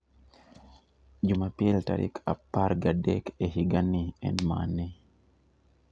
Jumapil tarik apar gadek e higani en mane